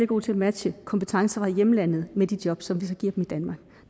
gode til at matche kompetencer fra hjemlandet med de job som vi så giver dem